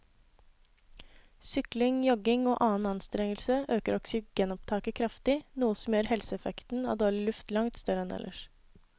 Sykling, jogging og annen anstrengelse øker oksygenopptaket kraftig, noe som gjør helseeffekten av dårlig luft langt større enn ellers.